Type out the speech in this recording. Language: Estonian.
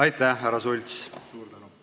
Aitäh, härra Sults!